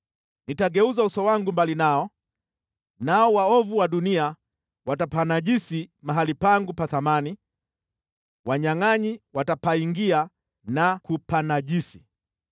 Nitageuza uso wangu mbali nao, nao waovu wa dunia watapanajisi mahali pangu pa thamani, wanyangʼanyi watapaingia na kupanajisi.